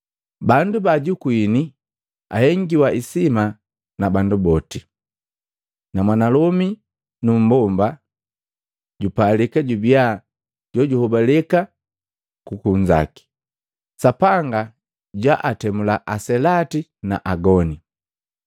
Bandu ba ajukuini ahengiwa isima na bandu boti, na mwanalomi nu mmbomba jupalika jubia jo juhobaleka ku kunzaki. Sapanga jwaatemula aselati na agoni.